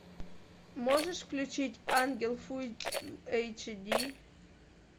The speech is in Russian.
можешь включить ангел фул эйч ди